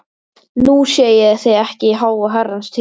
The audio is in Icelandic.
Nú sé ég þig ekki í háa herrans tíð.